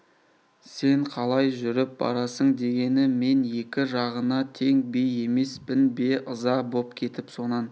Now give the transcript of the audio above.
сен қалай жүріп барасың дегені мен екі жағына тең би емеспін бе ыза боп кетіп сонан